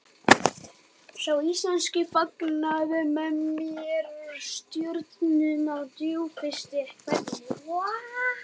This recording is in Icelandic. Sá íslenski fagnaði mér með stjörnum á djúpfrystri hvelfingunni.